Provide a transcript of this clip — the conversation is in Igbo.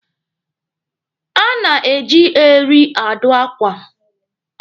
A na-eji eri adụ akwa.